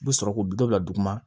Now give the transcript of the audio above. U bɛ sɔrɔ k'u bɛ dɔ bila duguma